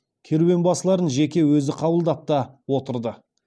керуен басыларын жеке өзі қабылдап та отырды